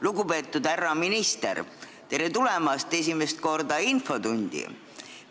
Lugupeetud härra minister, tere tulemast esimest korda infotundi!